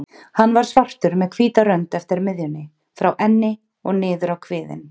Hann var svartur með hvíta rönd eftir miðjunni, frá enni og niður kviðinn.